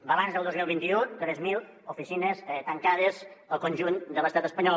balanç del dos mil vint u tres mil oficines tancades al conjunt de l’estat espanyol